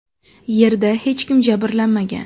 Yerda hech kim jabrlanmagan.